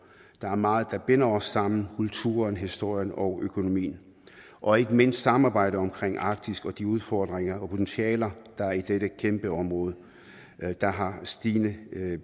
der er meget der binder os sammen kulturen historien og økonomien og ikke mindst samarbejdet omkring arktis og de udfordringer og potentialer der er i dette kæmpe område der har stigende